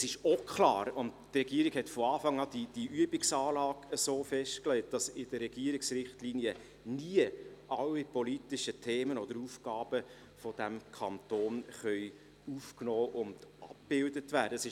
Die Regierung hat von Anfang an die Übungsanlage so festgelegt, dass in den Regierungsrichtlinien nie alle politischen Themen oder Aufgaben dieses Kantons abgebildet werden können.